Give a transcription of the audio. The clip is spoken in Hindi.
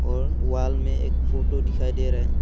और वॉल में एक फोटो दिखाई दे रही--